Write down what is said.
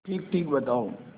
ठीकठीक बताओ